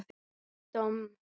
Ég domm?